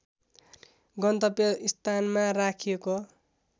गन्तव्य स्थानमा राखिएको